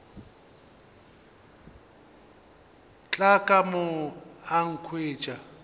tla ka mo a nkhwetša